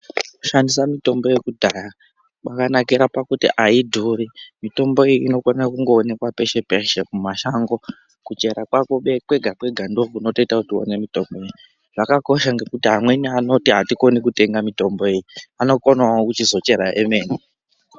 Kushandisa mitombo. yekudhaya kwakanakira kuti haidhuri uye mitombo iyi inokwanisa kuonekwa peshe peshe kuchera kwako kwega kwega ndiko kunotoita kuti uwane mutombo iyi zvakakosha ngekuti amweni anoti hatikoni kutenga mitombo iyi anokonawo kuchizocherawo emene.